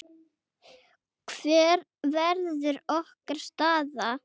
Hver verður okkar staða?